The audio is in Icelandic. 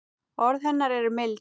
Orð hennar eru mild.